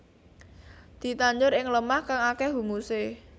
Ditandur ing lemah kang akéh humusé